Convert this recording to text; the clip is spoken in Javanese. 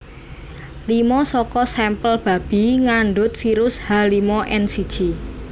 Lima saka sampel babi ngandhut virus H limo N siji